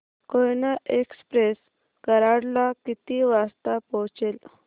Koyna express Karad ला किती वाजता पोहचेल